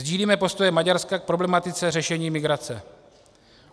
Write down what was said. Sdílíme postoje Maďarska k problematice řešení migrace.